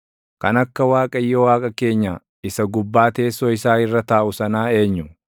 Kan akka Waaqayyo Waaqa keenya isa gubbaa teessoo isaa irra taaʼu sanaa eenyu?